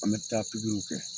An mɛ taa kɛ